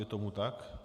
Je tomu tak.